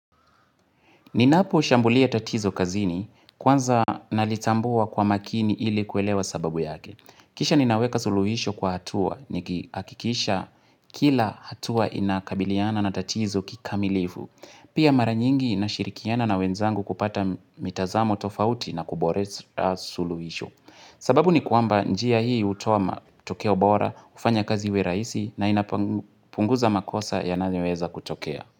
Ninapo shambulia tatizo kazini, kwanza nalitambua kwa makini ili kuelewa sababu yake. Kisha ninaweka suluhisho kwa hatua, nikihakikisha kila hatua inakabiliana na tatizo kikamilifu. Pia mara nyingi nashirikiana na wenzangu kupata mitazamo tofauti na kuboresha suluhisho. Sababu ni kwamba njia hii hutoa matokea bora, hufanya kazi iwe rahisi na inapunguza makosa yanayoweza kutokea.